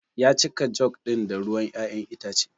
Ya cika jug ɗin da ruwan ƴaƴan itace.